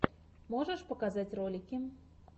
можешь показать ролики